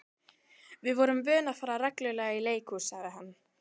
Við vorum vön að fara reglulega í leikhús, sagði hann.